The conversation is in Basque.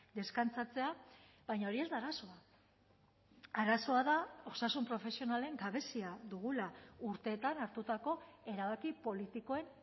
deskantzatzea baina hori ez da arazoa arazoa da osasun profesionalen gabezia dugula urteetan hartutako erabaki politikoen